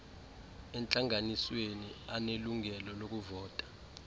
entlanganisweni anelungelo lokuvota